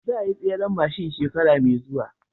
Za ayi tseren mashin shekara me zuwa